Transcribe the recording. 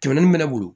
Kɛmɛ naani bɛ ne bolo